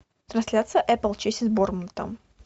трансляция апл челси с борнмутом